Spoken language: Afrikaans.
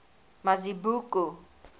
mazibuko